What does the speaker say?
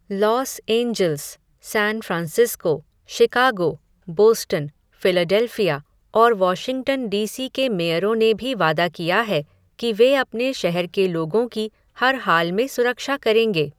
Loss Angeles, San Francisco, Chicago, Boston, Philadelphia, और Washington DC के मेयरों ने भी वादा किया है, कि वे अपने शहर के लोगों की हर हाल में सुरक्षा करेंगे.